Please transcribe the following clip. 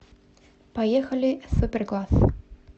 поехали суперкласс